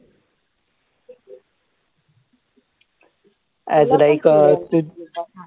आता तुला एक अं